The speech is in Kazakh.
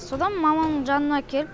содан мамамның жанына келіп